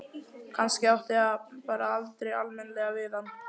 Kannski átti það bara aldrei almennilega við hann.